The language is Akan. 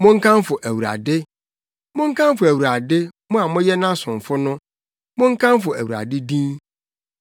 Monkamfo Awurade. Monkamfo Awurade, mo a moyɛ nʼasomfo no, monkamfo Awurade din.